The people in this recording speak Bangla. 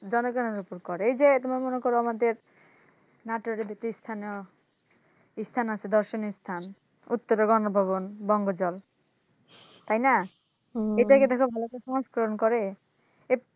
জনগনের ওপর করে এই যে তোমার মনে করো আমাদের ইস্থান আছে দর্শনীয় ইস্থান উত্তরে মনপবন বঙ্গ জল তাইনা? করে?